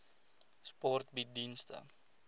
sport bied dienste